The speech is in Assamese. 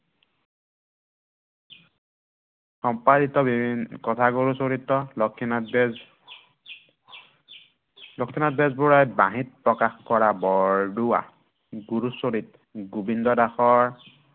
সম্পাদিত বিভিন্ন কথাগুৰু চৰিত লক্ষ্মীনাথ বেজ লক্ষ্মীনাথ বেজবৰুৱাই বাঁহীত প্ৰকাশ কৰা বৰদোৱা। গুৰুচৰিত গোৱিন্দ দাসৰ